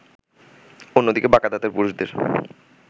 অন্যদিকে বাঁকা দাঁতের পুরুষদের